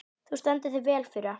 Þú stendur þig vel, Fura!